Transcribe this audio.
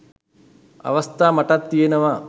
අවස්ථා මටත් තියනවා.